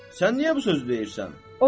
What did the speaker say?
Sən niyə bu sözü deyirsən?